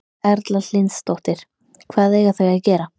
Erla Hlynsdóttir: Hvað eiga þau að gera?